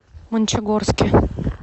мончегорске